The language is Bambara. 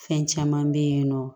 Fɛn caman bɛ yen nɔ